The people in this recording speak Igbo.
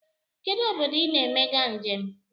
Kedụ obodo I na-emega njem?